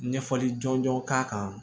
Ɲɛfɔli jɔnjɔn k'a kan